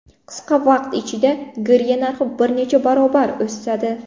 Qisqa vaqt ichida girya narxi bir necha barobar o‘sadi.